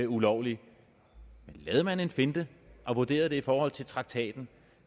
ulovligt men lavede man en finte og vurderede den i forhold til traktaten